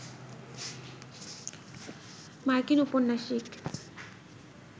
মার্কিন উপন্যাসিক